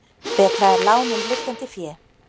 Betra er lán en liggjandi fé.